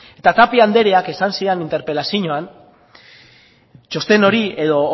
eta tapia andreak esan zidan interpelazioan txosten hori edo